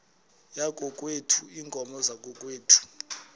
yakokwethu iinkomo zakokwethu